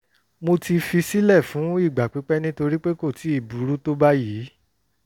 mo ti fi sílẹ̀ fún ìgbà pípẹ́ nítorí pé kò tíì burú tó báyìí